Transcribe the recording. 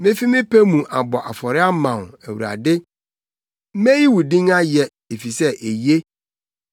Mefi me pɛ mu abɔ afɔre ama wo; Awurade, meyi wo din ayɛ, efisɛ eye.